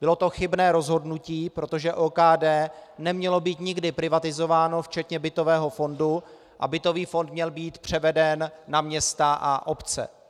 Bylo to chybné rozhodnutí, protože OKD nemělo být nikdy privatizováno včetně bytového fondu a bytový fond měl být převeden na města a obce.